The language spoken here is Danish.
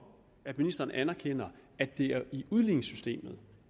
at ministeren anerkender at det er i udligningssystemet